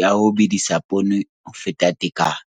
ya ho bedisa poone ho feta tekano.